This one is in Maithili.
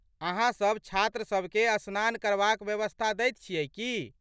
अहाँसब छात्रसबकेँ स्नान करबाक व्यवस्था दैत छी की ?